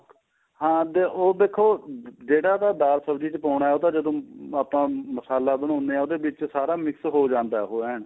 ਹਾਂ ਉਹ ਦੇਖੋ ਜਿਹੜਾ ਤਾਂ ਦਾਲ ਸਬਜ਼ੀ ਵਿੱਚ ਪਾਉਣਾ ਉਹ ਤੇ ਜਦੋਂ ਆਪਾਂ ਮਸਾਲਾ ਬਣਾਉਣੇ ਹਾਂ ਉਹਦੇ ਵਿੱਚ ਸਾਰਾ mix ਹੋ ਜਾਂਦਾ ਉਹ ਐਨ